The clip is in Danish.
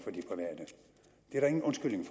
er der ingen undskyldning